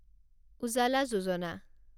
উজালা যোজনা